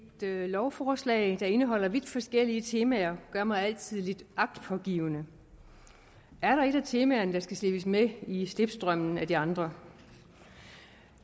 lovforslag der indeholder vidt forskellige temaer gør mig altid lidt agtpågivende er der et af temaerne der skal slippes med i slipstrømmen af de andre